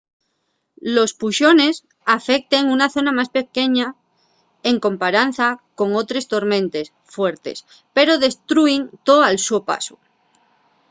los puxones afecten una zona más pequeña en comparanza con otres tormentes fuertes pero destrúin too al so pasu